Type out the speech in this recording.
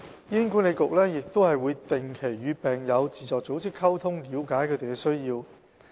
醫管局亦會定期與病友自助組織溝通，了解他們的需要。